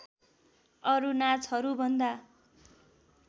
अरू नाचहरूभन्दा